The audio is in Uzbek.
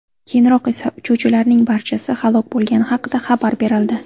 Keyinroq esa uchuvchilarning barchasi halok bo‘lgani haqida xabar berildi.